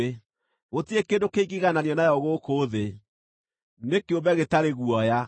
Gũtirĩ kĩndũ kĩngĩigananio nayo gũkũ thĩ; nĩ kĩũmbe gĩtarĩ guoya.